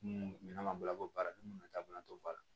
Mun minɛn ma bolo baara ni munnu ta bolo t'o ba la